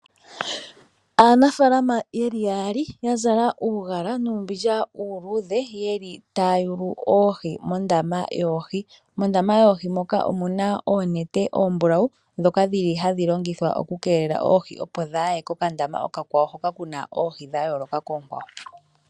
Aanafalama yeli yaali ya zala uugala nuumbindja uuludhe, yeli taya yulu oohi mondama yoohi. Mondama moka omuna oonete oombulawu dhoka dhili hadhi keelele oohi, opo dhaaye kokandama okakwawo hoka kuna oohi dhoka dha yooloka koohi oonkwawo.